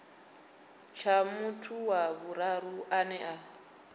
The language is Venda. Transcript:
tsha muthu wa vhuraru ane